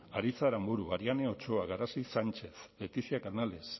aritz aranburu ariane ochoa garazi sánchez leticia canales